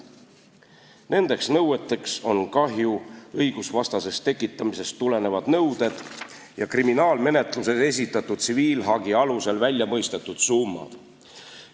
Nendeks nõueteks on kahju õigusvastasest tekitamisest tulenevad nõuded ja kriminaalmenetluses esitatud tsiviilhagi alusel välja mõistetud summad.